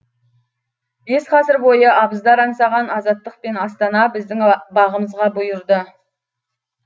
бес ғасыр бойы абыздар аңсаған азаттық пен астана біздің бағымызға бұйырды